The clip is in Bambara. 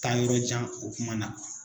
Taa yɔrɔ jan o kuma na.